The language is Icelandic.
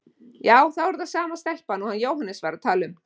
Já, þá er það sama stelpan og hann Jóhannes var að tala um.